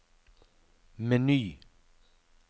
meny